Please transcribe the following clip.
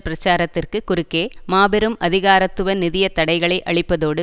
பிரச்சாரத்திற்கு குறுக்கே மாபெரும் அதிகாரத்துவ நிதிய தடைகளை அளிப்பதோடு